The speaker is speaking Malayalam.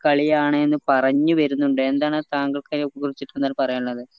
കളിയാണിന്ന് പറഞ് വേരുന്നിണ്ട് എന്താണ് താങ്കൾക്ക് അയിന കുറിച്ചിട്ടെന്താണ് പറയാനുള്ളത്